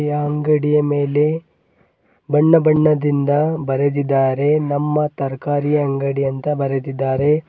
ಈ ಅಂಗಡಿಯ ಮೇಲೆ ಬಣ್ಣ ಬಣ್ಣದಿಂದ ಬರೆದಿದ್ದಾರೆ ನಮ್ಮ ತರಕಾರಿ ಅಂಗಡಿ ಅಂತ ಬರೆದಿದ್ದಾರೆ.